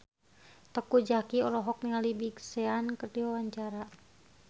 Teuku Zacky olohok ningali Big Sean keur diwawancara